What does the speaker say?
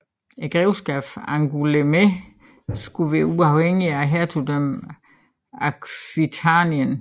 Grevskabet Angoulême skulle være uafhængigt af hertugdømmet Aquitanien